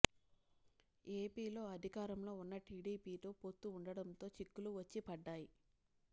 ఏపీలో అధికారంలో ఉన్న టిడిపితో పొత్తు ఉండటంతో చిక్కులు వచ్చి పడ్డాయి